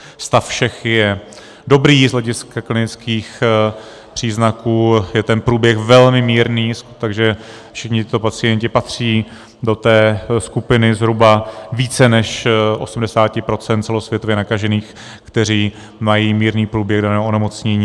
Stav všech je dobrý, z hlediska klinických příznaků je ten průběh velmi mírný, takže všichni tito pacienti patří do té skupiny zhruba více než 80 % celosvětově nakažených, kteří mají mírný průběh daného onemocnění.